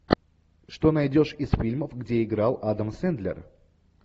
что найдешь из фильмов где играл адам сендлер